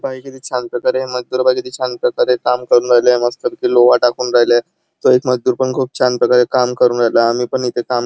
छान प्रकारे छान प्रकारे काम करून राहीले आहे मस्त पैकी लोहा टाकून राहीले आहे छान प्रकारे काम करून राहीले आहे आम्ही पण इथे काम --